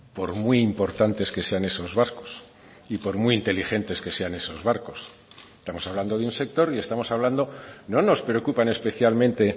por muy importantes que sean esos barcos y por muy inteligentes que sean esos barcos estamos hablando de un sector y estamos hablando no nos preocupan especialmente